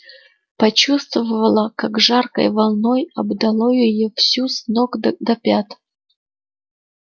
почувствовала как жаркой волной обдало её всю с ног до пят